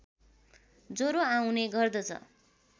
ज्वरो आउने गर्दछ